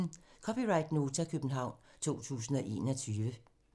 (c) Nota, København 2021